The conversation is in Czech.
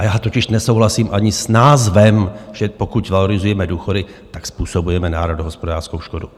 A já totiž nesouhlasím ani s názorem, že pokud valorizujeme důchody, tak způsobujeme národohospodářskou škodu.